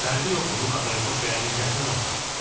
Fərqi yoxdur, bu katoliqos və ya biznesmen olsun.